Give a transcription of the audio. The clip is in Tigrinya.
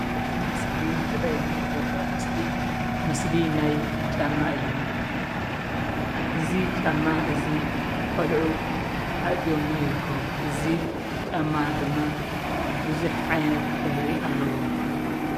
እዚ እስክሪን ዝርኣየኒ ዘሎ ምስሊ ምስሊ ናይ ጫማ እዩ። እዚ ጫማ እዚ ቆልዑ ኣአትዮምዎ ይርከቡ ። እዚ ጫማ ድማ ብዙሕ ዓይነት ሕብሪ ኣለዎ።